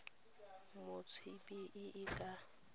mo tsebeng e e ka